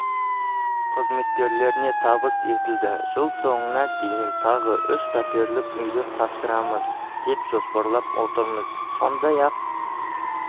қызметкерлеріне табыс етілді жыл соңына дейін тағы үш пәтерлік үйді тапсырамыз деп жоспарлап отырмыз сондай-ақ